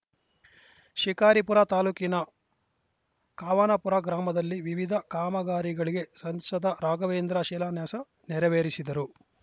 ಶಿಕಾರಿಪುರ ತಾಲೂಕಿನ ಖವಾನ ಪುರ ಗ್ರಾಮದಲ್ಲಿ ವಿವಿಧ ಕಾಮಗಾರಿಗಳಿಗೆ ಸಂಸದ ರಾಘವೇಂದ್ರ ಶಿಲಾನ್ಯಾಸ ನೆರವೇರಿಸಿದರು